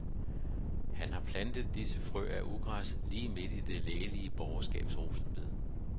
Han har plantet disse frø af ugræs lige midt i det lægelige borgerskabs rosenbed.